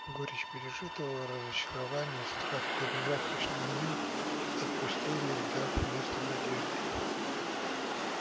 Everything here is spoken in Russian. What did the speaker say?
горечь пережитого разочарования и страх перед завтрашним днём отпустили дав место надежде